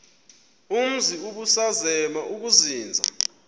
umzi ubusazema ukuzinza